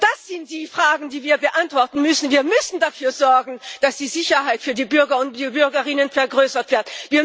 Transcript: Das sind die Fragen, die wir beantworten müssen. Wir müssen dafür sorgen, dass die Sicherheit für die Bürger und Bürgerinnen vergrößert wird.